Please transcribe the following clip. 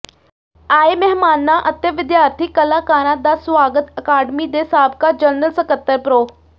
ਆਏ ਮਹਿਮਾਨਾਂ ਅਤੇ ਵਿਦਿਆਰਥੀ ਕਲਾਕਾਰਾਂ ਦਾ ਸੁਆਗਤ ਅਕਾਡਮੀ ਦੇ ਸਾਬਕਾ ਜਨਰਲ ਸਕੱਤਰ ਪ੍ਰੋ